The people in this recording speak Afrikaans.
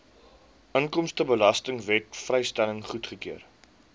inkomstebelastingwet vrystelling goedgekeur